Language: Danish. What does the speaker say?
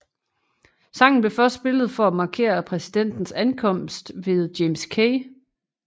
Sangen blev først spillet for at markere præsidentens ankomst ved James K